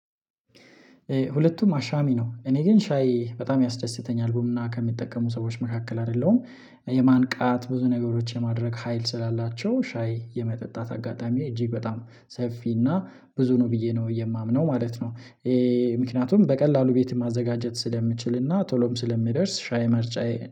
ሁለቱም አሻሚ ነው። እኔ ግን ሻይ በጣም ያስደስተኛል። ቡና ከሚጠቀሙ ሰዎች መካከል አይደለሁም። የማንቃት ብዙ ነገሮች የማድረግ ሀይል ስላላቸው ሻይ የመጠጣት አጋጣሚ እጅግ በጣም ሰፊ እና ብዙ ነው ብዬ ነው የማምነው ማለት ነው። ምክንያቱም በቀላሉ ቤት ማዘጋጀት ስለምችልና ቶሎም ስለሚደርስ ሻይ መርጫዬ